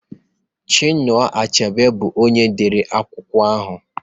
Chinua Achebe bu onye dere akwụkwọ ahụ